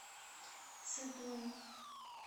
цидун